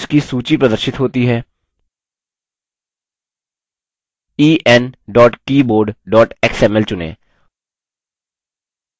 keyboards की सूची प्रदर्शित होती है en keyboard xml चुनें ok पर click करें